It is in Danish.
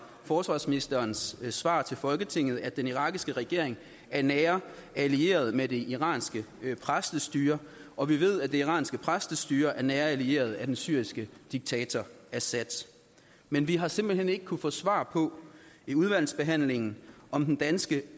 forsvarsministerens svar til folketinget at den irakiske regering er nære allierede med det iranske præstestyre og vi ved at det iranske præstestyre er nære allierede af den syriske diktator assad men vi har simpelt hen ikke kunnet få svar på i udvalgsbehandlingen om den danske